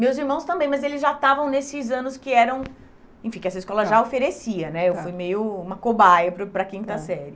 Meus irmãos também, mas eles já estavam nesses anos que eram, enfim, que essa escola já oferecia, né, eu fui meio uma cobaia para o para a quinta série.